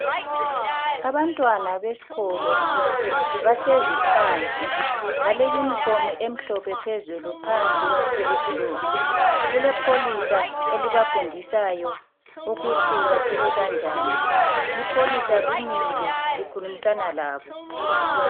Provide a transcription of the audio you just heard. Abantwana besikolo bahlezi phansi bale uniform emhlophe phezulu ,phansi iyiblue. kulepholisa elibafundisayo ukuthi baphile kanjani .Ipholisa limile likhulumisana labo.